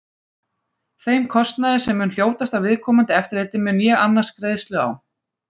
Þeim kostnaði, sem mun hljótast af viðkomandi eftirliti, mun ég annast greiðslu á.